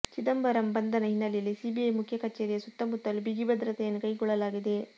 ಚಿದಂಬರಂ ಬಂಧನ ಹಿನ್ನೆಲೆಯಲ್ಲಿ ಸಿಬಿಐ ಮುಖ್ಯ ಕಚೇರಿಯ ಸುತ್ತಮುತ್ತಲೂ ಬಿಗಿ ಭದ್ರತೆಯನ್ನು ಕೈಗೊಳ್ಳಲಾಗಿದೆ